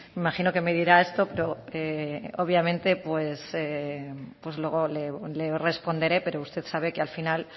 imagino que me dirá esto pero obviamente pues luego le responderé pero usted sabe que al final